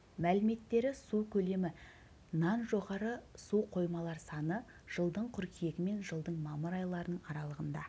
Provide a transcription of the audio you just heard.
мәліметтері су көлемі нан жоғары су қоймалар саны жылдың қыркүйегі мен жылдың мамыр айларының аралығында